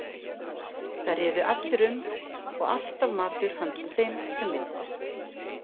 Þar riðu allir um og alltaf matur handa þeim sem vildu.